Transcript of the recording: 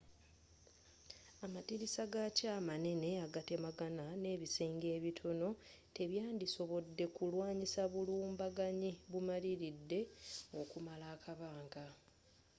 amadirisa gakyo amanene agatemagana n'ebisenge ebitono tebyandisobodde kulwanyisa bulumbaganyi bumaliridde okumala akabanga